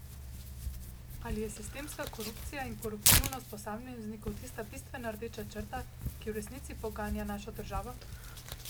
Ali je sistemska korupcija in koruptivnost posameznikov tista bistvena rdeča črta, ki v resnici poganja našo državo?